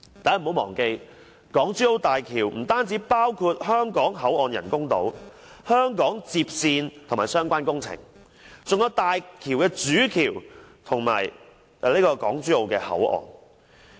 大家不要忘記，港珠澳大橋不單包括香港口岸人工島、香港接線與相關工程，還有大橋的主橋和港珠澳口岸。